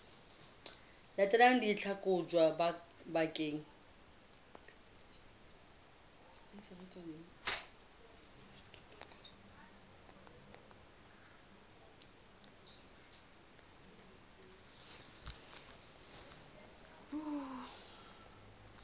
latelang di tla kotjwa bakeng